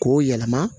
K'o yɛlɛma